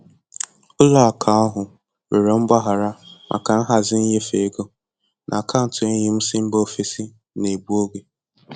Ụlọ akụ ahụ rịọrọ mgbaghara maka nhazi nnyefe ego, na akaụntụ enyi m si mba ofesi n'egbu oge.